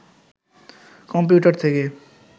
computer থেকে